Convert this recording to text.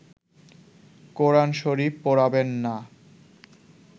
কোরান শরীফ পোড়াবেন না